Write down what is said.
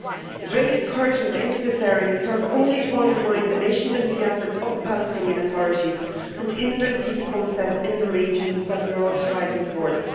Israeli incursions into this area serve only to undermine the nation building efforts of the Palestinian authorities and hinder the peace process in the region that we are all striving towards.